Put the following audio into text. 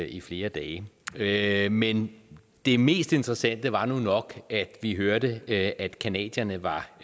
i flere dage dage men det mest interessante var nu nok at vi hørte at canadierne var